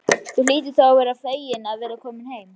Þú hlýtur þá að vera feginn að vera kominn heim.